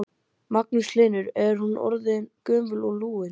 Magnús Hlynur: Hún er orðin gömul og lúin?